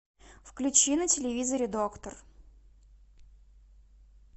включи на телевизоре доктор